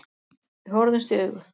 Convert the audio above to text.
Við horfðumst í augu.